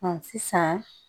sisan